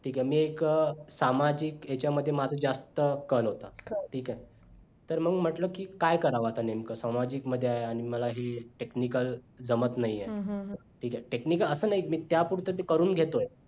ठीक आहे मी एक सामाजिक ह्यांच्यामध्ये माझं जास्त कल होता ठीक आहे तर मंग म्हटलं की काय करावं आता नेमकं सामाजिक मध्ये आहे मलाही technical जमत नाहि हाऊ ठीक आहे technical असं नाही की त्या पुढच मी करून घेतोय